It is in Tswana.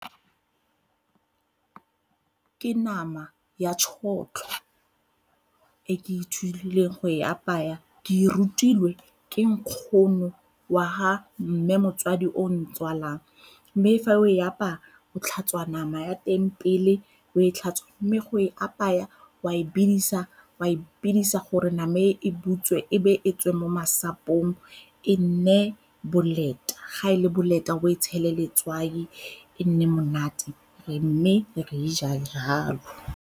Ke nama ya tšhotlho e ke ithutileng go e apaya, ke e rutilwe ke nkgono wa ha mme motsadi o o ntswalang. Mme fa o e apaya o tlhatswa nama ya teng pele, o e tlhatswe mme go e apaya o a e bidisa, o a e bidisa gore name e e butswe e be e tswe mo masapong e nne boleta, ga e le boleta o e tshele letswai e nne monate mme re e ja jalo.